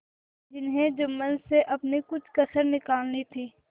जिन्हें जुम्मन से अपनी कुछ कसर निकालनी थी